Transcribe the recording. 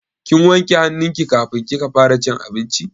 Kin wanke hannu ki kafin kika fara cin abinci?